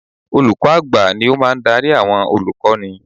Olùkọ́ à̀gbà ni ó máa ń darí àwọn olùkọ́ni